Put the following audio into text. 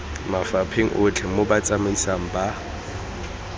mafapheng otlhe mo botsamaisng ba